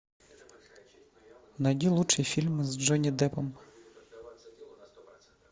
найди лучшие фильмы с джонни деппом